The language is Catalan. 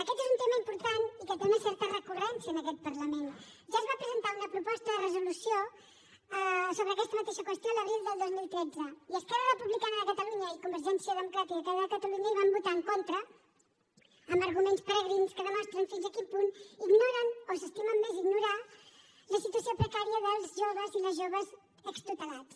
aquest és un tema important i que té una certa recurrència en aquest parlament ja es va presentar una proposta de resolució sobre aquesta mateixa qüestió l’abril del dos mil tretze i esquerra republicana de catalunya i convergència democràtica de catalunya hi van votar en contra amb arguments peregrins que demostren fins a quin punt ignoren o s’estimen més ignorar la situació precària dels joves i les joves extutelats